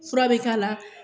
Fura be k'a la.